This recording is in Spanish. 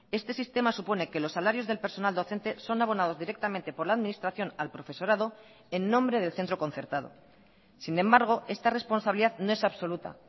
este sistema supone que los salarios del personal docente son abonados directamente por la administración al profesorado en nombre del centro concertado sin embargo esta responsabilidad no es absoluta